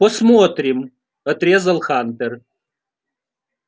посмотрим отрезал хантер